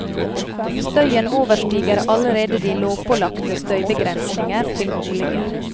Støyen overstiger allerede de lovpålagte støybegrensninger til boliger.